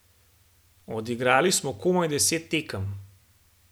Odigrali smo komaj deset tekem.